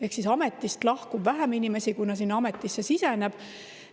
Ehk siis ametist lahkub vähem inimesi, kui neid sinna ametisse siseneb.